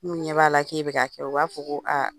N'u ɲɛ b'a la k'e bi ka kɛ, u b'a fɔ ko aa